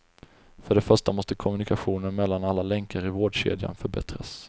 För det första måste kommunikationen mellan alla länkar i vårdkedjan förbättras.